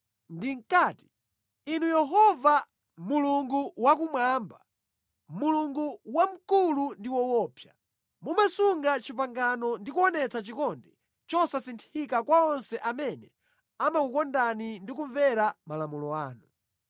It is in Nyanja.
Ndinkati: “Inu Yehova, Mulungu wakumwamba, Mulungu wamkulu ndi woopsa. Mumasunga pangano ndi kuonetsa chikondi chosasinthika kwa onse amene amakukondani ndi kumvera malamulo anu.